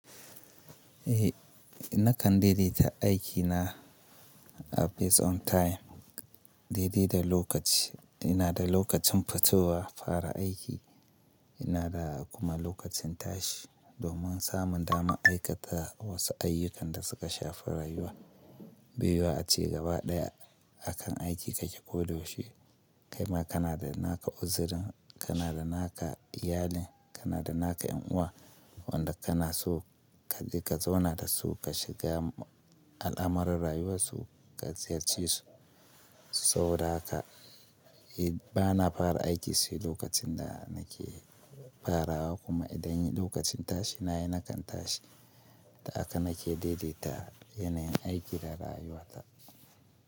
Eh, nakan daidaita aikina a based on time, daidai da lokaci. Ina da lokacin fitowa fara aiki, ina da kuma lokacin tashi domin samun dama aikata wasu ayyukan da suka shafi rayuwa biyu a cigaba ɗaya akan aiki kake ko da yaushe. Kaima kana da naka uzirin, kana da naka iyalin, kana da naka ƴan uwa wanda kana so ka je ka zauna da su ka shiga al'amuran rayuwarsu ka ziyarce su. Saboda haka bana fara aiki sai lokacin da nake farawa kuma idan lokacin tashi nayi nakan tashi da haka nake daidaita yanayin aiki da rayuwa ta.